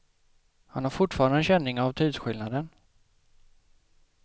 Han har fortfarande känning av tidsskillnaden.